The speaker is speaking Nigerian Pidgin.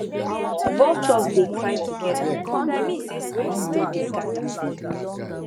vultures dey cry together e mean say spirits don dey gather